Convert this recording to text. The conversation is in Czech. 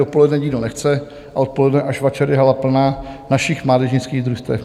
Dopoledne nikdo nechce a odpoledne až večer je hala plná našich mládežnických družstev.